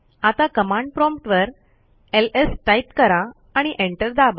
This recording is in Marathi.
आता कमांड प्रॉम्प्ट वर एलएस टाईप करा आणि एंटर दाबा